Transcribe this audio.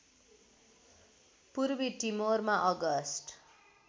पूर्वी टिमोरमा अगस्ट